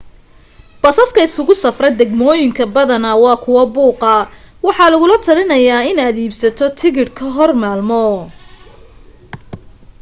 basaska isugu safra degmoyinka badana waa kuwa buuqa waxaa lagula telinaya in aad iibsato tikidh ka hor maalmo